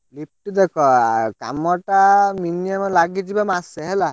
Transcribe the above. Lift ଦେଖ କାମ ଟା minimum ଲାଗିଯିବ ମାସେ ହେଲା।